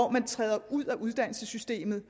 kan træde ud af uddannelsessystemet